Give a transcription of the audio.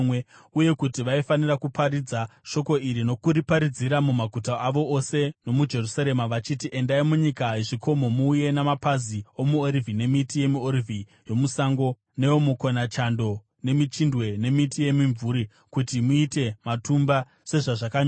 Uye kuti vaifanira kuparidza shoko iri nokuriparadzira mumaguta avo ose nomuJerusarema vachiti: “Endai munyika yezvikomo muuye namapazi omuorivhi nemiti yemiorivhi yomusango, neomukonachando, nemichindwe nemiti yemimvuri, kuti muite matumba sezvazvakanyorwa.”